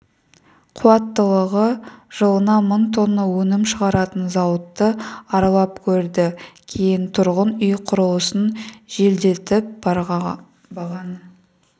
қуаттылығы жылына мың тонна өнім шығаратын зауытты аралап көрді кейін тұрғын үй құрылысын жеделдетіп бағаны